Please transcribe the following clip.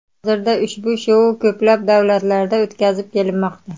Hozirda ushbu shou ko‘plab davlatlarda o‘tkazib kelinmoqda.